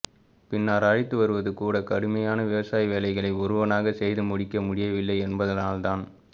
பின்னர் அழைத்துவருவதுகூட கடுமையான விவசாயவேலைகளை ஒருவனாக செய்து முடிக்க முடியவில்லை என்பதனால்தான்